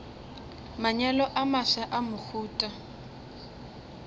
manyalo a mafsa a mohuta